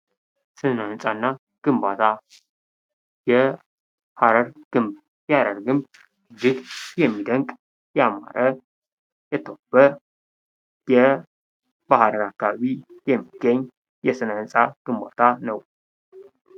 ስነ-ሕንፃ እና ግንባታ የሐረር ግንብ የሐረር ግንብ እጅግ የሚደንቅ ያማረ የተዋበ በሐረር አካባቢ የሚገኝ የስነ-ህንፃ ግንባታ ነው።